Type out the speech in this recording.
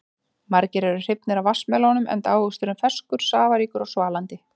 Margir eru hrifnir af vatnsmelónum enda ávöxturinn ferskur, safaríkur og svalandi.